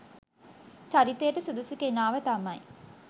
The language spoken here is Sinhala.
චරිතයට සුදුසු කෙනාව තමයි